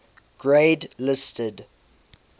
grade listed